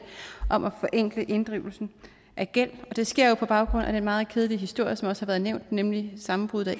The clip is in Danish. om at forenkle inddrivelsen af gæld og det sker jo på baggrund af den meget kedelige historie som også har været nævnt nemlig sammenbruddet af